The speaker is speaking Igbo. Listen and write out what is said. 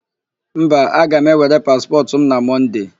Mba. aga m ewere paspọtụ m na Mọnde.